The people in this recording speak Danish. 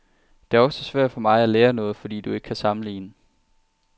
Det er også svært for mig at lære noget, fordi du ikke kan sammenligne.